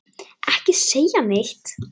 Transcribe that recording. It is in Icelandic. Ekki segja neitt!